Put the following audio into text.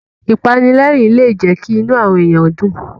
Ìpanilẹ́rìn-ín lè jẹ́ kí inú àwọn èyàn dùn.